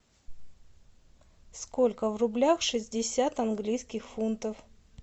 сколько в рублях шестьдесят английских фунтов